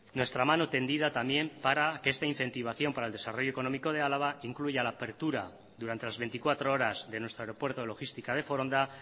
nuestra mano tendida también para que esta incentivación para el desarrollo económico de álava incluya la apertura durante las veinticuatro horas de nuestro aeropuerto de logística de foronda